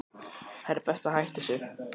Það er best að hætta þessu.